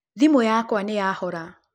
Thimũ yakwa nĩyahora.